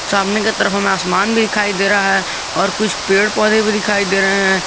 सामने की तरफ हमें आसमान भी दिखाई दे रहा है और कुछ पेड़ पौधे भी दिखाई दे रहे हैं।